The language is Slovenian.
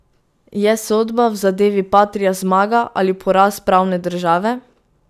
Je sodba v zadevi Patria zmaga ali poraz pravne države?